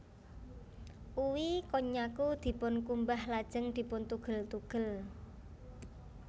Uwi konnyaku dipunkumbah lajeng dipuntugel tugel